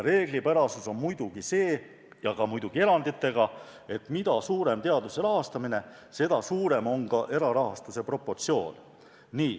Reeglipärasus on loomulikult see – ja muidugi ka eranditega –, et mida suurem teaduse rahastamine, seda suurem on ka erarahastuse osakaal.